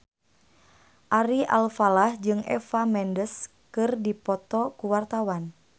Ari Alfalah jeung Eva Mendes keur dipoto ku wartawan